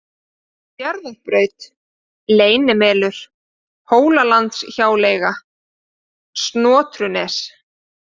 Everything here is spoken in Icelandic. Fjarðarbraut, Leynimelur, Hólalandshjáleiga, Snotrunes